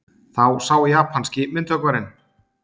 Þá sá japanski myndhöggvarinn